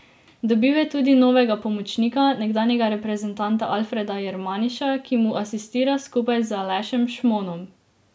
Dobil je tudi novega pomočnika, nekdanjega reprezentanta Alfreda Jermaniša, ki mu asistira skupaj z Alešem Šmonom.